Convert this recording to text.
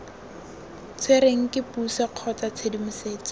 tshwerweng ke puso kgotsa tshedimosetso